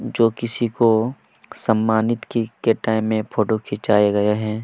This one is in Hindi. जो किसी की सम्मानित को की टाइम पर फोटो खींचाए गया है।